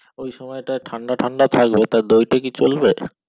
ওই সময়টা ঠান্ডা ঠান্ডা থাকবে তো দুইটা কি চলবে